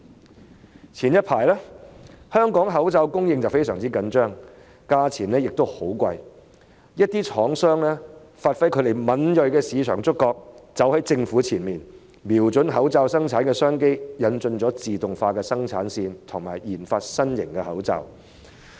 早前香港的口罩供應非常緊張，價格亦十分昂貴，一些廠商發揮敏銳的市場觸覺，走在政府前方，瞄準口罩生產的商機，引進自動化生產線，以及研發新型口罩。